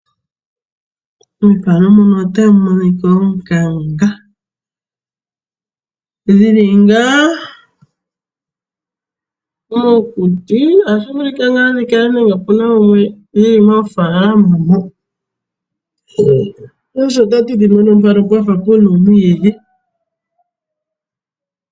Onganga oshinamwenyo shoka hashi zi mokuti. Oto vulu oku shi mona moofalama odhindji. Onganga oha yi vulu woo okuza onyama ndjoka hayi liwa.